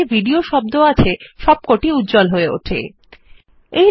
এখন ক্লিক করুন হাইলাইট allসব শব্দ যা ওয়েবপেজে মধ্যে ভিডিও শব্দ কে হাইলাইট করেছে